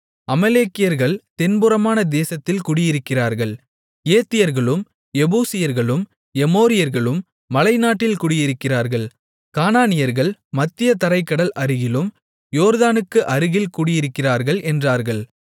அமலேக்கியர்கள் தென்புறமான தேசத்தில் குடியிருக்கிறார்கள் ஏத்தியர்களும் எபூசியர்களும் எமோரியர்களும் மலைநாட்டில் குடியிருக்கிறார்கள் கானானியர்கள் மத்திய தரைக் கடல் அருகிலும் யோர்தானுக்கு அருகில் குடியிருக்கிறார்கள் என்றார்கள்